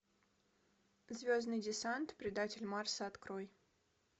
звездный десант предатель марса открой